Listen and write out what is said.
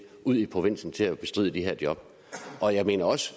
ud i provinsen til at bestride de her job og jeg mener også